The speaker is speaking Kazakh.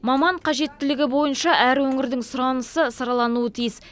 маман қажеттілігі бойынша әр өңірдің сұранысы саралануы тиіс